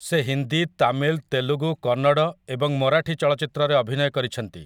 ସେ ହିନ୍ଦୀ, ତାମିଲ, ତେଲଗୁ, କନ୍ନଡ଼ ଏବଂ ମରାଠୀ ଚଳଚ୍ଚିତ୍ରରେ ଅଭିନୟ କରିଛନ୍ତି ।